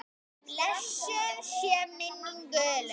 Blessuð sé minning Gullu.